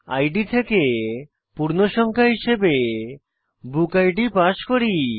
ID থেকে পূর্ণসংখ্যা হিসাবে বুকিড পাস করি